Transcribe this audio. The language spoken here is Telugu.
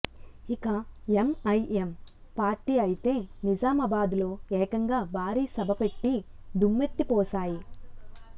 ఇక ఎంఐఎం పార్టీ అయితే నిజామాబాద్ లో ఏకంగా భారీ సభ పెట్టి దుమ్మెత్తిపోశాయి